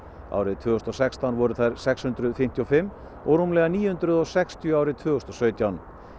árið tvö þúsund og sextán voru þær sex hundruð fimmtíu og fimm og rúmlega níu hundruð og sextíu árið tvö þúsund og sautján